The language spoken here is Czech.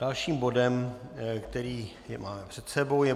Dalším bodem, který máme před sebou, je